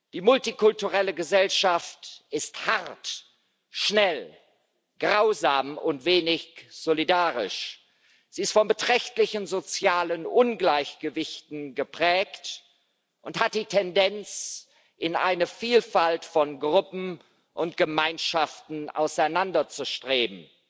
Die multikulturelle Gesellschaft ist hart, schnell, grausam und wenig solidarisch, sie ist von beträchtlichen sozialen Ungleichgewichten geprägt und hat die Tendenz, in eine Vielfalt von Gruppen und Gemeinschaften auseinanderzustreben